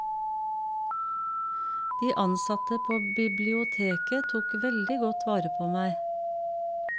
De ansatte på biblioteket tok veldig godt vare på meg.